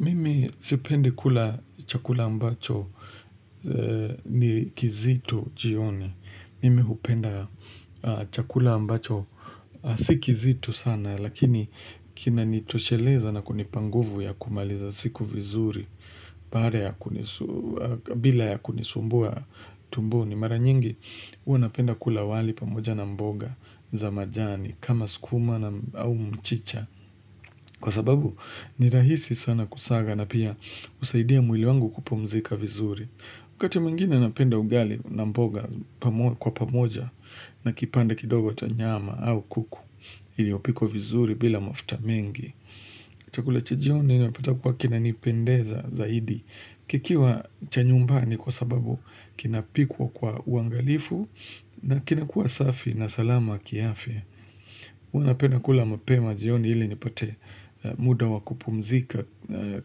Mimi sipendi kula chakula ambacho ni kizito jioni. Mimi hupenda chakula ambacho. Si kizito sana lakini kimenitosheleza na kunipanguvu ya kumaliza siku vizuri bila ya kunisumbua tumboni. Ni mara nyingi huwa napenda kula wali pamoja na mboga za majani kama skuma au mchicha. Kwa sababu ni rahisi sana kusaga na pia husaidia mwili wangu kupumzika vizuri. Wakati mwingine napenda ugali na mboga kwa pamoja na kipande kidogo cha nyama au kuku iliyopikwa vizuri bila mafuta mengi. Chakula chajioni napata kuwa kinanipendeza zaidi kikiwa chanyumbani kwa sababu kinapikwa kwa uangalifu na kinakua safi na salama kiafya. Huwa napenda kula mapema jioni ili nipate muda wakupumzika